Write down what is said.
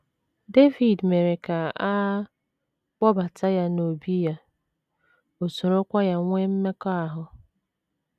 Devid mere ka a kpọbata ya n’obí ya, o sorokwa ya nwee mmekọahụ.